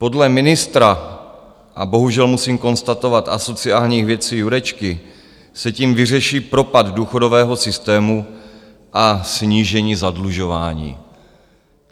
Podle ministra - a bohužel musím konstatovat asociálních věcí - Jurečky se tím vyřeší propad důchodového systému a snížení zadlužování.